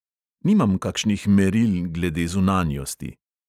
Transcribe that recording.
Nimam kakšnih meril glede zunanjosti.